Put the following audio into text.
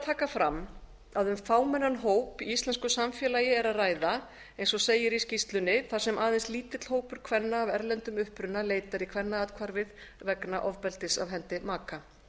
taka fram að um fámennan hóp í íslensku samfélagi er að ræða eins og segir í skýrslunni þar sem aðeins lítill hópur kvenna af erlendum uppruna leitar í kvennaathvarfið vegna ofbeldis af hendi maka